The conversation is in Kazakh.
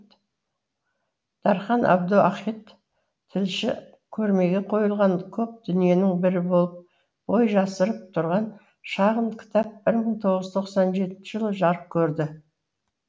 дархан әбдуахит тілші көрмеге қойылған көп дүниенің бірі болып бой жасырып тұрған шағын кітап бір мың тоғыз жүз тоқсан жетінші жылы жарық көрді